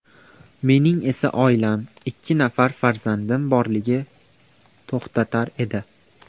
Mening esa oilam, ikki nafar farzandim borligi to‘xtatar edi.